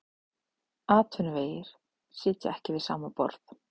Atvinnuvegir sitja ekki við sama borð